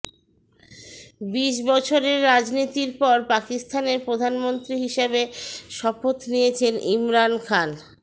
বিশ বছরের রাজনীতির পর পাকিস্তানের প্রধানমন্ত্রী হিসাবে শপথ নিয়েছেন ইমরান খান